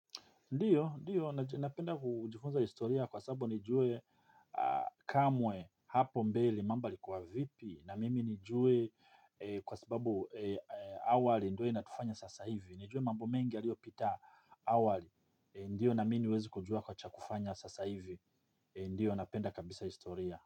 Ndio, ndio, napenda kujifunza historia kwa sababu nijue kamwe hapo mbele mambo yalikuwa vipi na mimi nijue kwa sababu awali ndio inatufanya sasa hivi, nijue mambo mengi yaliopita awali, ndio na mimi niweze kujua kwa cha kufanya sasa hivi, ndio napenda kabisa historia.